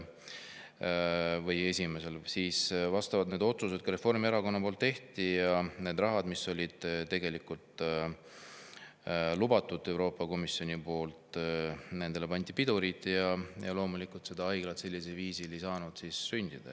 Siis vastavad otsused Reformierakonna poolt tehti, sellele rahale, mida Euroopa Komisjon oli lubanud, pandi pidurit ja see haigla ei saanud sellisel viisil sündida.